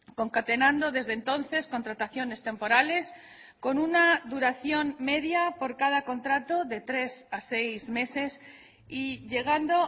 concatenando desde entonces contrataciones temporales con una duración media por cada contrato de tres a seis meses y llegando